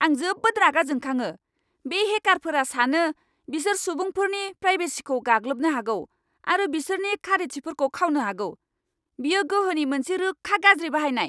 आं जोबोद रागा जोंखाङो, बे हेकारफोरा सानो बिसोर सुबुंफोरनि प्राइभेसिखौ गाग्लोबनो हागौ आरो बिसोरनि खारिथिफोरखौ खावनो हागौ। बेयो गोहोनि मोनसे रोखा गाज्रि बाहायनाय!